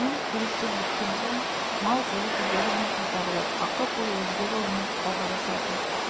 кейін келіссөз біткен соң мал көзі түгелімен қайтарылып ақы-пұл өзге жолмен ауғарысатын